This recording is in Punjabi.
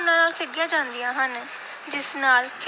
ਭਾਵਨਾ ਨਾਲ ਖੇਡੀਆਂ ਜਾਂਦੀਆਂ ਹਨ, ਜਿਸ ਨਾਲ